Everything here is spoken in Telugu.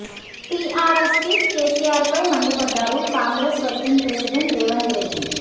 టీఆర్ఎస్ చీఫ్ కేసీఆర్ పై మండిపడ్డారు Congress working president Revanth Reddy